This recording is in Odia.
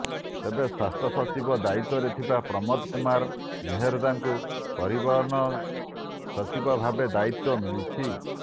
ତେବେ ସ୍ୱାସ୍ଥ୍ୟ ସଚିବ ଦାୟିତ୍ୱରେ ଥିବା ପ୍ରମୋଦ କୁମାର ମେହେର୍ଦ୍ଦାଙ୍କୁ ପରିବହନ ସଚିବ ଭାବେ ଦାୟିତ୍ୱ ମିଳିଛି